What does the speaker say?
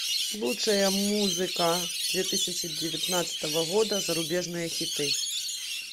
лучшая музыка две тысячи девятнадцатого года зарубежные хиты